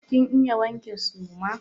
Kin iya wanke suma?